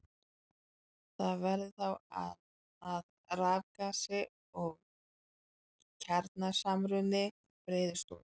Það verður þá að rafgasi og kjarnasamruni breiðist út.